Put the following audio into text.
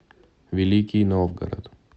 великий новгород